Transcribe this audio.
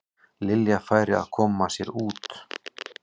Lilja færi að koma sér út.